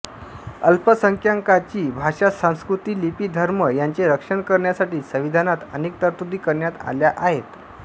अल्पसंख्यांकांची भाषासंस्कृतीलिपीधर्म यांचे रक्षण करण्यासाठी संविधानात अनेक तरतुदी करण्यात आल्या आहेत